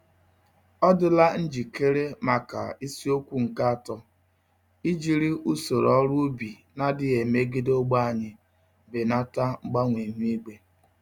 Ọ dịla njikere maka isiokwu nke atọ: ijiri usoro ọrụ ubi n'adịghị emegide ogbè anyi, belata mgbanwe ihu igwe?